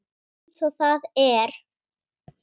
Eins og það er.